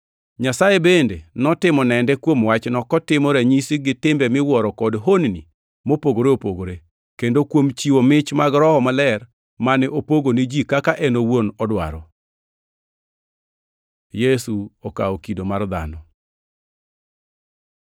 Nyasaye bende notimo nende kuom wachno kotimo ranyisi gi timbe miwuoro kod honni mopogore opogore, kendo kuom chiwo mich mag Roho Maler mane opogo ni ji kaka en owuon odwaro. Yesu okawo kido mar dhano